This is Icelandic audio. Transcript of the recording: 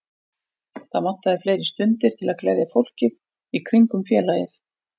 Það vantaði fleiri stundir til að gleðja fólkið í kringum félagið.